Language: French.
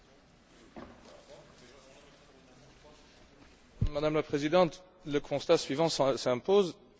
Madame la Présidente, le constat suivant s'impose l'Union économique et monétaire est bien monétaire, mais à peine économique.